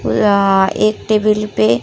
एक टेबल पे --